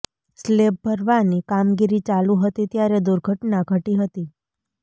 slab ભરવાની કામગીરી ચાલુ હતી ત્યારે દુર્ઘટના ઘટી હતી